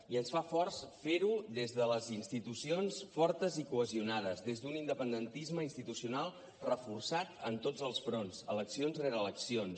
i ens fa forts fer ho des de les institucions fortes i cohesionades des d’un independentisme institucional reforçat en tots els fronts eleccions rere eleccions